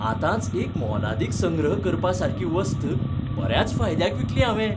आतांच एक मोलादीक संग्रह करपासारकी वस्त बऱ्याच फायदयाक विकली हांवें.